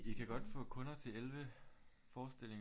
I kan godt få kunder til 11 forestillinger